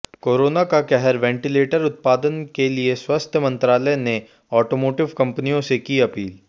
corona का कहरः ventilator उत्पादन के लिए स्वास्थ्य मंत्रालय ने ऑटोमोटिव कंपनियों से की अपील